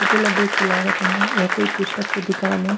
ऊपर ल देख के लागत हे ये कोई पुस्तक के दुकान ए--